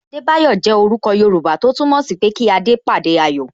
Adebayo jẹ orúkọ Yoruba tó túmọ̀ sí pé kí adé pàdé ayọ̀